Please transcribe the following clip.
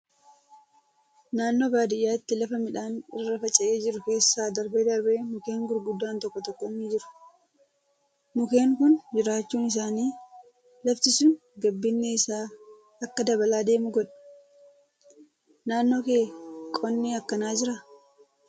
Naannoo baadiyyaatti lafa midhaan irra faca'ee jiru keessa darbee darbee mukkeen gurguddaan tokko tokko ni jiru. Mukkeen kun jiraachuun isaanii lafti sun gabbinni isaa akka dabalaa deemu godha. Naannoo kee qonni akkanaa jiraa?